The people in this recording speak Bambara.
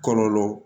Kɔlɔlɔ